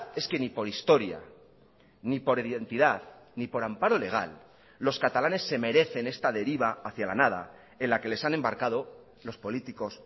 es que ni por historia ni por identidad ni por amparo legal los catalanes se merecen esta deriva hacia la nada en la que les han embarcado los políticos